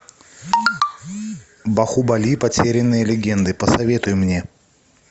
бахубали потерянные легенды посоветуй мне